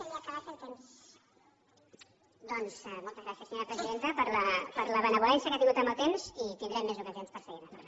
doncs moltes gràcies senyora presidenta per la benevolència que ha tingut amb el temps i tindrem més ocasions per seguir ne parlant